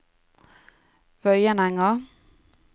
Vøyenenga